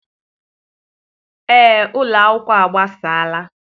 Ee, ụlọ akwụkwọ a gbasaala.